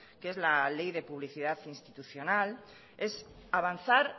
que es la ley de publicidad institucional es avanzar